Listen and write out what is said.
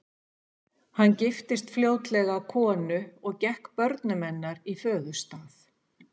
Hann giftist fljótlega konu og gekk börnum hennar í föðurstað.